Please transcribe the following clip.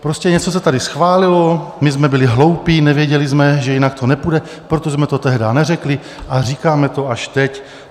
Prostě něco se tady schválilo, my jsme byli hloupí, nevěděli jsme, že jinak to nepůjde, proto jsme to tehdy neřekli a říkáme to až teď.